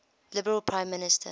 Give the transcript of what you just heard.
liberal prime minister